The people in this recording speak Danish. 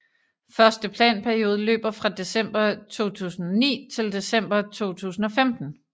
Første planperiode løber fra december 2009 til december 2015